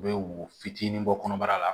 U bɛ wo fitinin bɔ kɔnɔbara la